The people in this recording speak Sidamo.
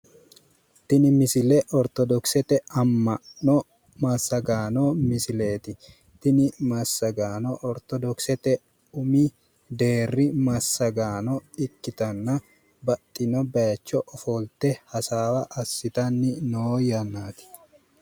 Tini misile ortodokisete amma'nnaano massagaano misileeti. Tini massagaano ortodokisete umi deerri massagaano ikkitanna baxxino baaycho ofolte hasaawa assitanni no yannaati